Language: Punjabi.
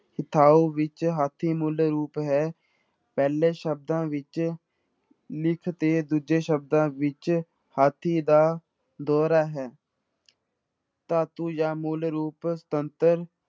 ਵਿੱਚ ਹਾਥੀ ਮੂਲ ਰੂਪ ਹੈ, ਪਹਿਲੇ ਸ਼ਬਦਾਂ ਵਿੱਚ ਤੇ ਦੂਜੇ ਸ਼ਬਦਾਂ ਵਿੱਚ ਹਾਥੀ ਦਾ ਦੋਹਰਾ ਹੈ ਧਾਤੂ ਜਾਂ ਮੂਲ ਰੂਪ ਤੰਤਰ